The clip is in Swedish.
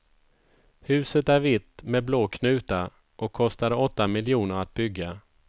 Huset är vitt med blå knutar och kostade åtta miljoner att bygga.